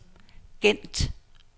Gent